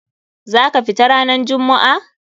Za ka fita ranan jummu'a?